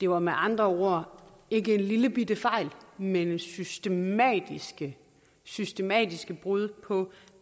var med andre ord ikke en lillebitte fejl men systematiske systematiske brud på